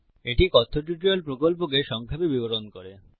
এটি কথ্য টিউটোরিয়াল প্রকল্পকে সংক্ষেপে বিবরণ করে